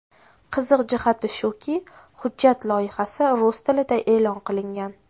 Qiziq jihati shuki, hujjat loyihasi rus tilida e’lon qilingan.